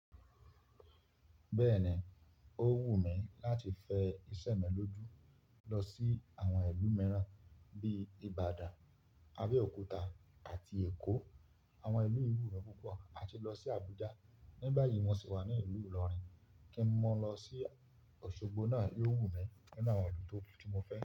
Bẹ́ẹ̀ni, o wù mí láti fe ìṣẹ̀mẹ́lọ́jú lọ sí àwọn ìlú mìíràn bíi Ibadan, Abẹ́òkúta àti Eko. Àwọn ìlú yìí wu mí púpọ̀. Má se lọ sí Abuja. Ní báyìí mo sì wà ní ìlú Ìlọrin, kí n mọ lọ sí Osogbo náà yóò wù mí nínú àwọn ìlú tí mo fe.